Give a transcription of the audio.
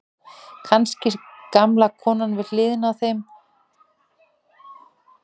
Kannski gamla konan við hliðina að fá lánaðan kaffibolla eða sykur.